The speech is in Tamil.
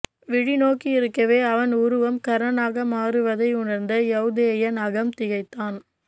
விழிநோக்கியிருக்கவே அவன் உருவம் கர்ணனாக மாறுவதை உணர்ந்து யௌதேயன் அகம் திகைத்தான்